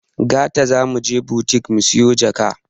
Gata zamuje butik musiyo jaka